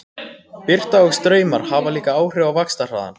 Birta og straumar hafa líka áhrif á vaxtarhraðann.